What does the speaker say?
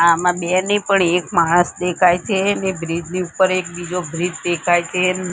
આમાં બે નહિ પણ એક માણસ દેખાય છે ને બ્રિજ ની ઉપર એક બીજો બ્રિજ દેખાય છે.